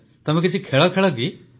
ତମେ କିଛି ଖେଳ ଖେଳକି